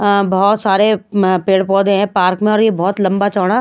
अह बहुत सारे पेड़-पौधे हैं पार्क में और ये बहुत लंबा चौड़ा--